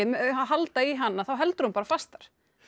halda í hann þá heldur hún fastar